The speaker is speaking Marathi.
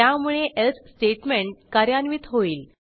त्यामुळे एल्स स्टेटमेंट कार्यान्वित होईल